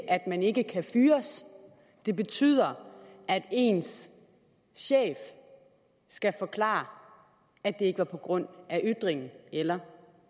at man ikke kan fyres det betyder at ens chef skal forklare at det ikke var på grund af ytringen eller